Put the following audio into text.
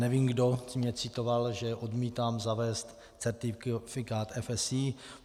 Nevím, kdo mě citoval, že odmítám zavést certifikát FSC.